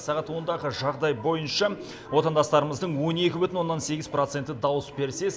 сағат ондағы жағдай бойынша отандастарымыздың он екі бүтін оннан сегіз проценті дауыс берсе